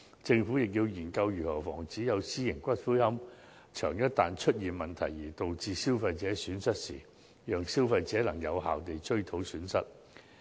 政府亦要研究，一旦出現私營龕場結業而對消費者造成損失時，如何讓消費者有效追討損失。